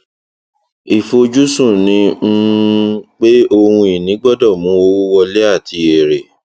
ìfojúsùn ni um pé ohun ìní gbọdọ mú owó wọlé àti èrè